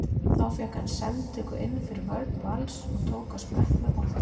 Þá fékk hann sendingu inn fyrir vörn Vals og tók á sprett með boltann.